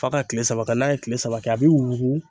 F'a ka kile saba kɛ n'a ye kile saba kɛ a bi wugu